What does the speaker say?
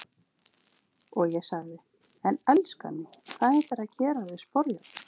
Og ég sagði:- En elskan mín, hvað ætlarðu að gera við sporjárn?